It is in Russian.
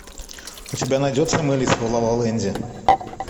у тебя найдется мэлис в лалаленде